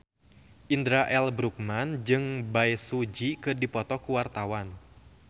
Indra L. Bruggman jeung Bae Su Ji keur dipoto ku wartawan